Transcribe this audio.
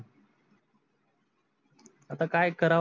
आता काय कराव लागत पोटासाठी sir काय दुसर.